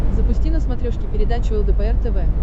запусти на смотрешке передачу лдпр тв